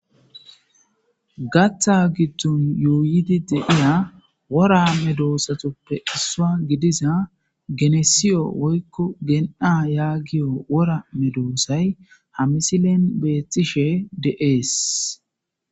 Gatha giddon yuuyidi deiya wora me doosatuppe issua gidiza genesiyo woykko gen'a yaagiyo wora medoosay ha misilen beethtishe de'ees